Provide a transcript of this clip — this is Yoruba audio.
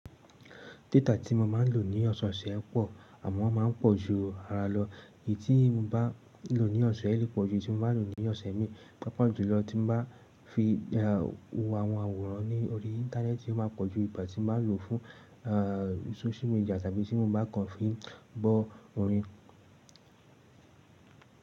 Data tí mo máa ń lò ní ọ̀sọ̀ọ̀sẹ̀ pọ̀, àmọ́ ó máa ń pọ̀ ju ara lọ. Èyí tí mo bá lò ní ọ̀sẹ̀ yìí lè pọ̀ ju èyí tí mo bá lò ní ọ̀sẹ̀ míì. Pàápàá jù lọ tí mo bá fi wo àwọn àwòrán ní orí íńtánẹ́ẹ̀tì, ó máa pọ̀ ju ìgbà tí mo bá lò fún aà social media tàbí tí mo bá kàn fi ń gbọ́ orin.